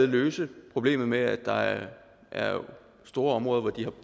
løse problemet med at der er store områder hvor de har